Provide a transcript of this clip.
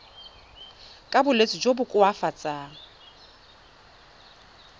ka bolwetsi jo bo koafatsang